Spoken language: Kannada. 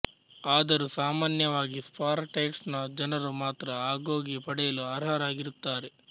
ಆದರೂ ಸಾಮಾನ್ಯವಾಗಿ ಸ್ಪಾರಟೈಟ್ಸ್ ನ ಜನರು ಮಾತ್ರ ಅಗೋಗೆ ಪಡೆಯಲು ಅಱರಾಗಿರುತ್ತಾರೆ